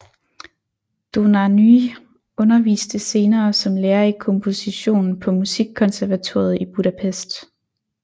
Dohnányi underviste senere som lærer i komposition på Musikkonservatoriet i Budapest